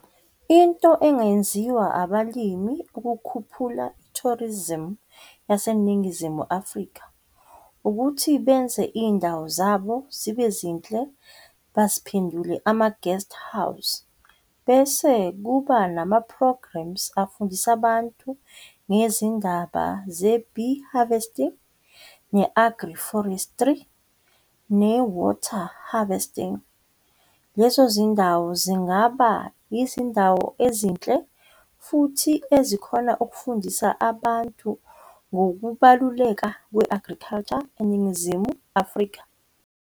Into engenziwa abalimi ukukhuphula i-tourism yaseNingizimu Afrika, ukuthi benze indawo zabo zibe zinhle baziphendule ama-guest house, bese kuba nama-programmes afundise abantu ngezindaba ze-bee harvesting, ne-agroforestry, ne-water harvesting. Lezo zindawo zingaba izindawo ezinhle futhi ezikhona ukufundisa abantu ngokubaluleka kwi-agriculture eNingizimu Afrika.